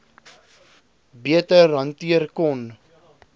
beter hanteer kon